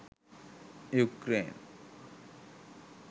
ukraine